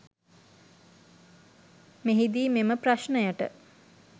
මෙහිදී මෙම ප්‍රශ්නයට